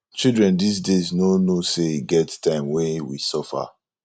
children dis days no know say e get time wen we suffer